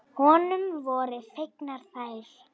Honum voru fengnar þær.